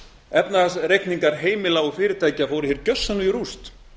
efnahagsreikningar heimila og fyrirtækja fóru hér gjörsamlega í rúst